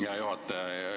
Aitäh, hea juhataja!